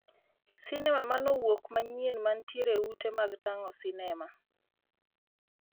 Sinema ma mowuok manyien mantiere e ute mag tang'o sinema